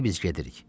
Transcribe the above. İndi biz gedirik.